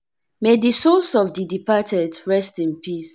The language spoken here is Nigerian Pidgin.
may di souls of di departed rest in peace.